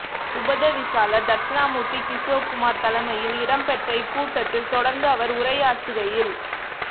உப தவிசாளர் தட்சணாமுர்த்தி கிசோக்குமார் தலைமையில் இடம்பெற்ற இக் கூட்டத்தில் தொடர்ந்து அவர் உரையாற்றுகையில்